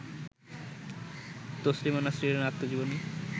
তসলিমা নাসরিনের আত্মজীবনী